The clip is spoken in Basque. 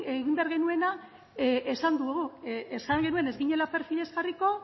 egin behar genuena esan dugu esan genuen ez ginela perfilez jarriko